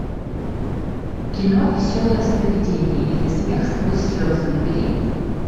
кино веселое сновидение или смех сквозь слезы набери